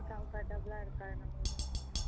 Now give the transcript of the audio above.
comfortable ஆ இருக்காது நம்மளுக்கு